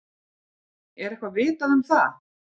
Er eitthvað vitað um það?